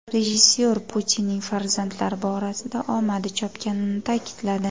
Rejissor Putinning farzandlar borasida omadi chopganini ta’kidladi.